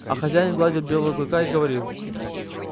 а хозяин гладил белого клыка и говорил